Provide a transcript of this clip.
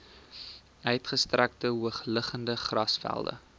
uitgestrekte hoogliggende grasvelde